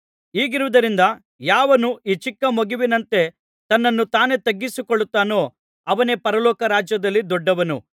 ಹೀಗಿರುವುದರಿಂದ ಯಾವನು ಈ ಚಿಕ್ಕ ಮಗುವಿನಂತೆ ತನ್ನನ್ನು ತಾನೇ ತಗ್ಗಿಸಿಕೊಳ್ಳುತ್ತಾನೋ ಅವನೇ ಪರಲೋಕ ರಾಜ್ಯದಲ್ಲಿ ದೊಡ್ಡವನು